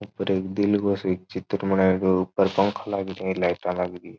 ऊपर एक दिल गो सो एक चित्र बनाये गयो ऊपर पंखा लाग रहो है लाइटा लागरी है।